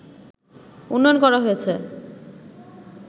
উন্নয়ন করা হয়েছে